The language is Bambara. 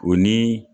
O ni